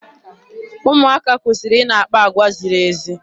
Ụmụaka kwesịrị ị na-akpa agwa ziri ezi.